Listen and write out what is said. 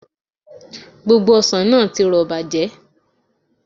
Gbogbo ọsàn náà ti rọ̀ bàjẹ́